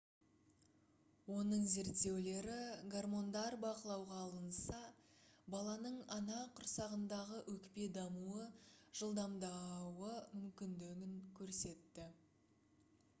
оның зерттеулері гармондар бақылауға алынса баланың ана құрсағындағы өкпе дамуы жылдамдауы мүмкіндігін көрсетті